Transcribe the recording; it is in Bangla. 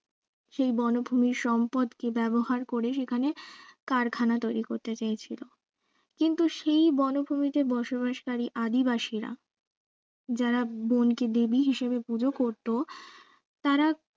সেই বনভূমির সম্পদকে ব্যাবহার করে সেখানে কারখানা তৈরী করতে চেয়েছিল কিন্তু সেই বনভূমিতে বসবাসকারী আদিবাসীরা যারা বন কে দেবী হিসাবে পূজা করতো তারা